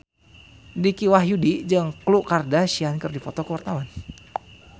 Dicky Wahyudi jeung Khloe Kardashian keur dipoto ku wartawan